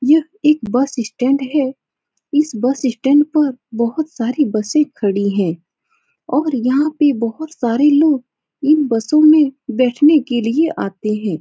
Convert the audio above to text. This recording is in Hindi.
ये एक बस स्टैंड है। इस बस स्टैंड पर बोहोत सारी बसे खड़ी हैं और यहाँ पे बोहोत सारे लोग इन बसों में बेठने की लिए आते हैं।